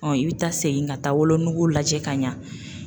i bi taa segin ka taa wolonugu lajɛ ka ɲa